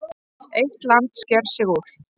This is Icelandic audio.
Eitt land sker sig úr.